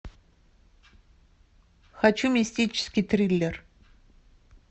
хочу мистический триллер